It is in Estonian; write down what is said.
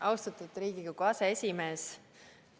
Austatud Riigikogu aseesimees!